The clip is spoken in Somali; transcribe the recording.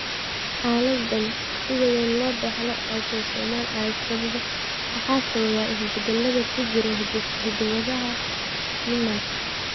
Xaaladdan sida weyn loo dhaxlo ee autosomal waxaa sababa isbeddellada ku jira hidda-wadaha GNAS.